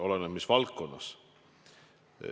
Oleneb, mis valdkonnas.